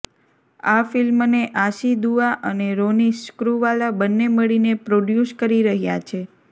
આ ફિલ્મને આશી દુઆ અને રોની સ્ક્રૂવાલા બંને મળીને પ્રોડયૂસ કરી રહ્યા છે